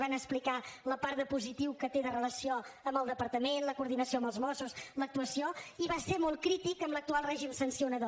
van explicar la part de positiu que té de relació amb el departament la coordinació amb els mossos l’actuació i va ser molt crític amb l’actual règim sancionador